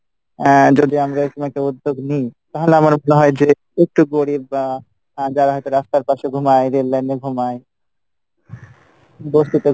আহ যদি আমরা এরকম একটা উদ্যোগ নি তাহলে আমার মনে হয় যে, একটু গরিব বা আহ যারা হয়তো রাস্তার পাসে ঘুমাই rail line এ ঘুমাই, বসতি তে